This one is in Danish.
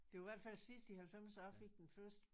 Det var i hvert fald sidst i halvfemser jeg fik den første